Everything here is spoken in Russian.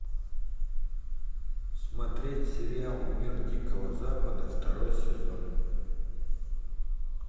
смотреть сериал мир дикого запада второй сезон